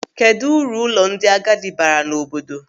Kedụ uru ụlọ ndị agadi baara n'obodo?